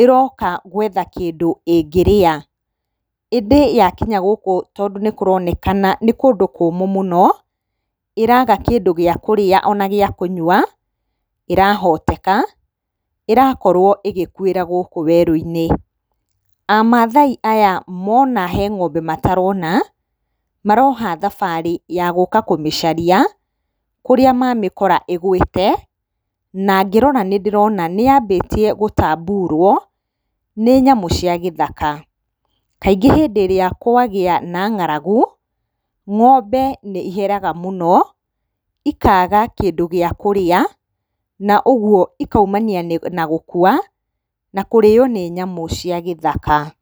ĩroka gũetha kĩndũ ĩngĩrĩa. ĩndĩ yakinya gũkũ tondũ nĩ kũroneka nĩ kũndũ kũũmũ mũno, ĩraga kĩndũ gĩa kũrĩa ona gĩa kũnyua, ĩrahotena ĩrakorwo ĩgĩkuĩra gũkũ werũ-inĩ. A Maathai aya mona he ng'ombe matarona maroha thabarĩ ya gũũka kũmĩcaria kũrĩa mamĩkora ĩgũĩte, na ngĩrora nĩ ndĩrona nĩ yambĩtie gũtamburwo nĩ nyamũ cia gĩthaka. Kaingĩ hĩndĩ ĩrĩa kwagĩa na nga'ragu, ng'ombe nĩ iheraga mũno, ikaga kĩndũ gĩa kũrĩa na ũguo ikaumania na gũkua na kũrĩo nĩ nyamũ cia gĩthaka.